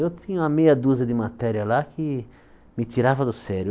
Eu tinha uma meia dúzia de matéria lá que me tirava do sério.